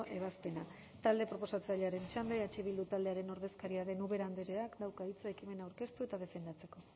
ebazpena talde proposatzailearen txanda eh bildu taldearen ordezkaria den ubera andreak dauka hitza ekimena aurkeztu eta defendatzeko